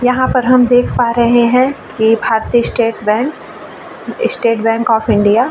यहाँ पर हम देख पा रहे है कि भारतीय state bank state bank of India --